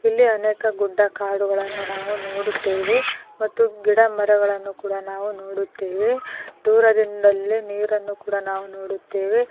ಇಲ್ಲಿ ಅನೇಕ ಗುಡ್ಡ ಕಾಡುಗಳನ್ನು ನಾವು ನೋಡುತ್ತೇವೆ ಮತ್ತು ಗಿಡ ಮರಗಳನ್ನು ಕೂಡ ನಾವು ನೋಡುತ್ತೇವೆ ದೂರದಿಂದಲೇ ನೀರನ್ನು ಕೂಡ ನಾವು ನೋಡುತ್ತೇವೆ.